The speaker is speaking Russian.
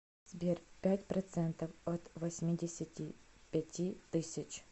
сбер пять процентов от восьмидесяти пяти тысяч